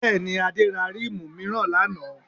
Bẹ́ẹ̀ni, Adé ra ríìmù mìíràn lánàá